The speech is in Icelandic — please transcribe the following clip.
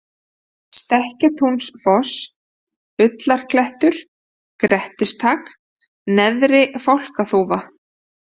Stekkjatúnsfoss, Ullarklettur, Grettistak, Neðri-Fálkaþúfa